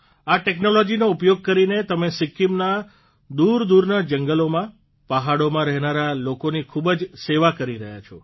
આ ટેકનોલોજીનો ઉપયોગ કરીને તમે સિક્કિમના દૂરદૂરના જંગલોમાં પહાડોમાં રહેનારા લોકોની ખૂબ જ સેવા કરી રહ્યા છો